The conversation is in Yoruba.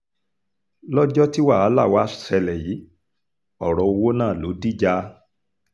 lọ́jọ́ tí wàhálà wàá ṣẹlẹ̀ yìí ọ̀rọ̀ owó náà ló dìjà